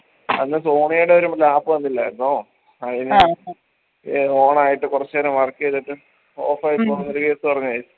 അന്ന് sonia ടെ ഒരു lap വന്നില്ലായിരുന്നോ ഏർ on ആയിട്ട് കൊർച്ച് നേരം work എയ്തിട്ട് off പോന്നൊരു case പറഞ്ഞ